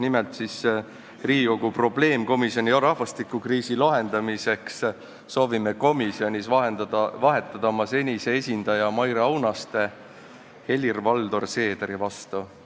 Nimelt soovime vahetada Riigikogu rahvastikukriisi lahendamise probleemkomisjonis oma senise esindaja Maire Aunaste Helir-Valdor Seederi vastu.